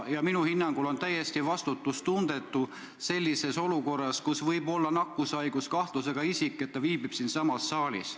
Minu hinnangul on praeguses olukorras täiesti vastutustundetu, et nakkushaiguse kahtlusega isik viibib siin saalis.